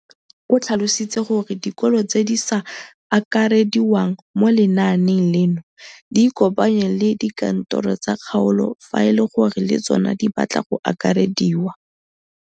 O tlhalositse gore dikolo tse di sa akarediwang mo lenaaneng leno di ikopanye le dikantoro tsa kgaolo fa e le gore le tsona di batla go akarediwa.